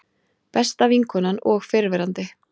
Besta vinkonan og fyrrverandi